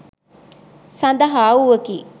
සඳහා වූවකි.